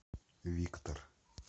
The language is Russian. виктор